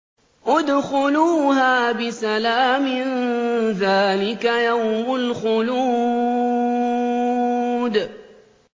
ادْخُلُوهَا بِسَلَامٍ ۖ ذَٰلِكَ يَوْمُ الْخُلُودِ